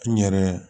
N yɛrɛ